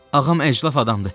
Ağam əclaf adamdır.